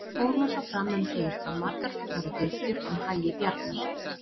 Fór nú svo fram um hríð að margar voru dylgjur um hagi Bjarnar.